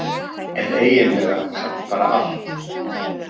En eiginlega samt bara allt.